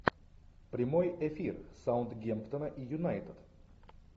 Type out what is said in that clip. прямой эфир саутгемптона и юнайтед